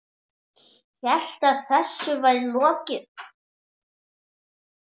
Hélt að þessu væri lokið.